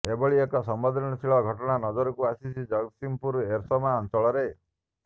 ଏଭଳି ଏକ ସମ୍ବେଦନଶୀଳ ଘଟଣା ନଜରକୁ ଆସିଛି ଜଗତସିଂହପୁର ଏରସମା ଅଂଚଳରେ